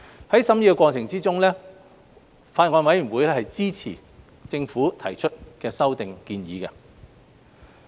在審議過程中，法案委員會支持政府提出的修訂建議。